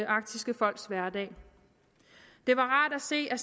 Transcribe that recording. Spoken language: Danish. arktiske folks hverdag det var rart at se at